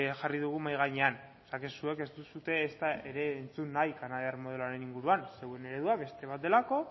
jarri dugu mahai gainean o sea que zuek ez duzue ezta ere entzun nahi kanadiar modeloaren inguruan zuen eredua beste bat delako